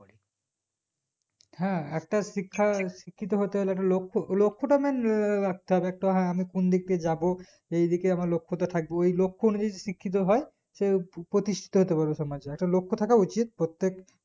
হ্যাঁ একটা শিক্ষা শিক্ষিত হতে হলে একটা লক্ষ লক্ষটা main ররাখতে হবে হ্যাঁ আমি কোনদিক দিয়ে যাবো সেইদিকে আমার লক্ষটা থাকবে ওই লক্ষ নিয়ে শিক্ষতো হয় সে প্রতিষ্ঠীতো হতেপারবে সমাজে একটা লক্ষ থাকা উচিত প্রত্যেক